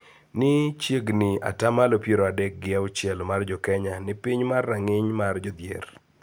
Ni chiegni ata malo piero adek gi auchiel mar jo Kenya ni piny mar rang�iny mar jodhier.